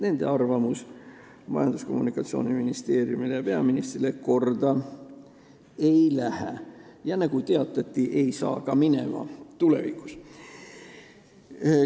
Nende arvamus Majandus- ja Kommunikatsiooniministeeriumile ja peaministrile korda ei lähe ja nagu teatati, ei saa minema ka tulevikus.